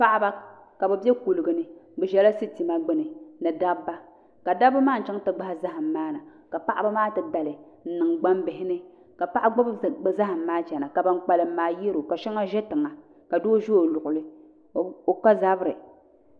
Paɣaba ka bi bɛ kuligi ni bi ʒɛla sitima gbuni ni dabba ka dabba maa n chɛŋ ti gbahi zaham maa na ka paɣaba maa ti dali n niŋ gbambihi ni ka paɣa gbubi bi zaham maa chɛna ka ban kpalim maa yɛro ka shɛŋa ʒɛ tiŋa ka doo ʒɛ o luɣuli o ka zabiri